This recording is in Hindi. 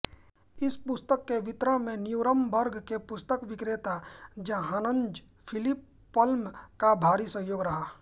इस पुस्तिका के वितरण में न्यूरम्बर्ग के पुस्तक विक्रेता जाहन्ज़फिलिप पल्म का भारी सहयोग रहा